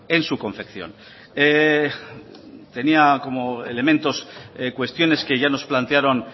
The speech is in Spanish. en su confección tenía como elementos cuestiones que ya nos plantearon